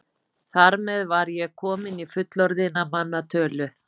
Þar með var ég komin í fullorðinna manna tölu.